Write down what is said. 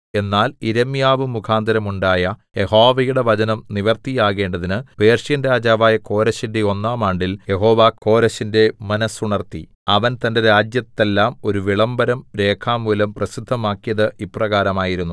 എന്നാൽ യിരെമ്യാവ് മുഖാന്തരം ഉണ്ടായ യഹോവയുടെ വചനം നിവൃത്തിയാകേണ്ടതിന് പേർഷ്യൻ രാജാവായ കോരെശിന്റെ ഒന്നാം ആണ്ടിൽ യഹോവ കോരെശിന്റെ മനസ്സുണർത്തി അവൻ തന്റെ രാജ്യത്തെല്ലാം ഒരു വിളംബരം രേഖാമൂലം പ്രസിദ്ധമാക്കിയത് ഇപ്രകാരമായിരുന്നു